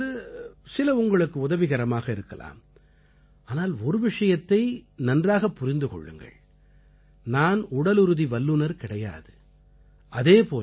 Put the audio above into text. நான் செய்வதிலிருந்து சில உங்களுக்கு உதவிகரமாக இருக்கலாம் ஆனால் ஒருவிஷயத்தை நன்றாகப் புரிந்து கொள்ளுங்கள் நான் உடலுறுதி வல்லுனர் கிடையாது